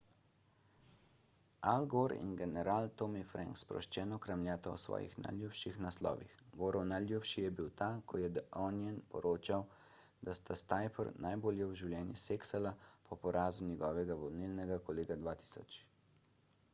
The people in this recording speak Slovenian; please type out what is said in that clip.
al gore in general tommy franks sproščeno kramljata o svojih najljubših naslovih gorov najljubši je bil ta ko je the onion poročal da sta s tipper najbolje v življenju seksala po porazu njegovega volilnega kolega 2000